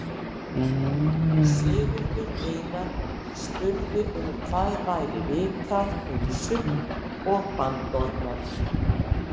Sigurður Einar spurði um hvað væri vitað um sull og bandorma.